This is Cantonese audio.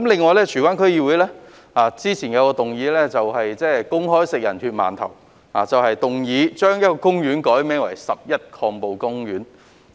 此外，荃灣區議會之前也有一項議案公開"食人血饅頭"，他們動議把一個公園改名為"十一抗暴公園"。